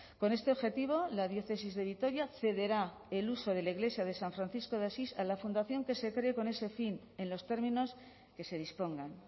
con este objetivo la diócesis de vitoria cederá el uso de la iglesia de san francisco de asís a la fundación que se cree con ese fin en los términos que se dispongan